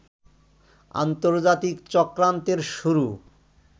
আন্তর্জাতিক চক্রান্তের শুরু